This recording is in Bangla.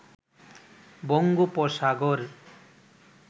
বঙ্গোপসাগর